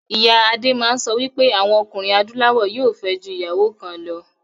Ìyá adé máa ń sọ wípé àwọn ọkùnrin adúláwọ̀ yóò fẹ́. ju ìyàwó kan lọ